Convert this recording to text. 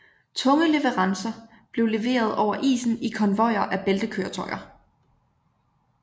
Tunge leverancer blev leveret over isen i konvojer af bæltekøretøjer